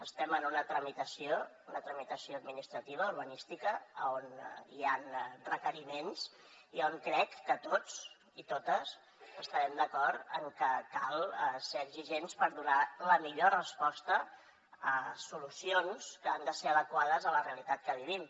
estem en una tramitació administrativa urbanística on hi ha requeriments i on crec que tots i totes estarem d’acord en que cal ser exigents per donar la millor resposta a solucions que han de ser adequades a la realitat que vivim